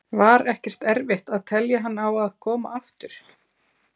Var ekkert erfitt að telja hann á að koma aftur?